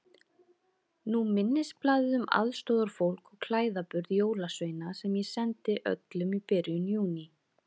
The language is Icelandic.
Nú minnisblaðið um aðstoðarfólk og klæðaburð jólasveina sem ég sendi öllum í byrjun Júní.